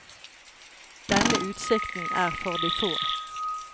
Denne utsikten er for de få.